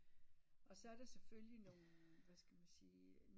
Og så er der selvfølgelig nogen hvad skal man sige